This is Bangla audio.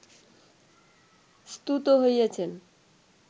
স্তুত হইয়াছেন